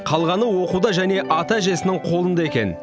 қалғаны оқуда және ата әжесінің қолында екен